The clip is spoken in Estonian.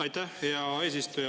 Aitäh, hea eesistuja!